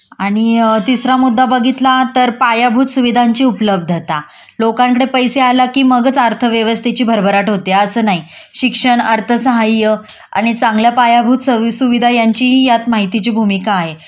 आणि तिसरा मुद्दा बघितला तर पायाभूत सुविधांची उपलब्द्ता.लोकांकडे पैसे आला कि मगच अर्थव्यवस्थेची भरभराट होते अस नाही.शिक्षण अर्थसहाय्य आणि चांगल्या पायाभूत सोयीसुविधां यांचीही यातमाहितीची भूमिका आहे